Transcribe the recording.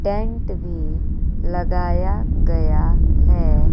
Tent भी लगाया गया है।